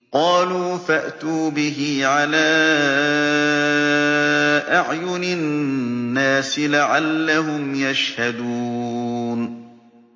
قَالُوا فَأْتُوا بِهِ عَلَىٰ أَعْيُنِ النَّاسِ لَعَلَّهُمْ يَشْهَدُونَ